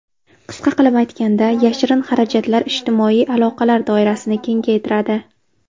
Qisqa qilib aytganda, yashirin xarajatlar ijtimoiy aloqalar doirasini kengaytiradi.